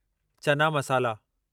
चना मसाला